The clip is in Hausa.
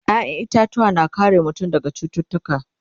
ƴaƴan itatuwa na kare mutum daga cututtuka